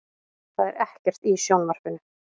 Það er ekkert í sjónvarpinu.